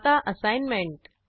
आता असाईनमेंट